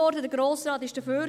Der Grosse Rat war dafür;